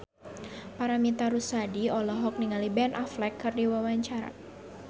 Paramitha Rusady olohok ningali Ben Affleck keur diwawancara